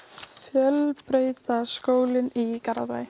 fjölbrautaskólinn í Garðabæ